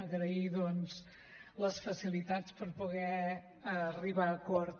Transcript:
agrair doncs les facilitats per poder arribar a acord